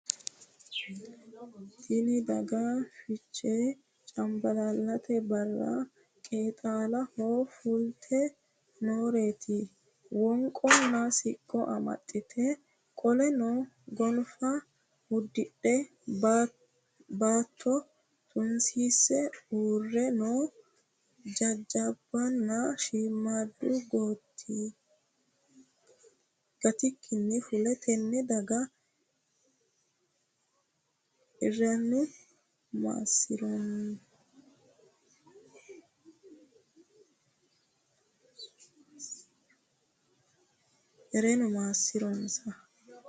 Tinni daga fichche canbaallallatte Barra qeexxaaloho fulitte nooreetti wonqonna siqqo amaxxe qolonna goniffa udirre baatto tunisiiase uure noo jajjabbunna shiimmaddu gattikkinni fulle tenne dagga erennu maasiroonnsa